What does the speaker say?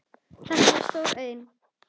Þetta var stór auðn.